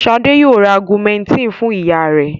Ṣadé yóò ra Augumentin fún ìyá rẹ̀.